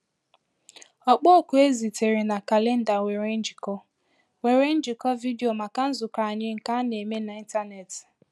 Ọkpọ oku e zitere na kalenda nwere njikọ nwere njikọ vidio maka nzukọ anyị nke a na-eme n’ịntanetị.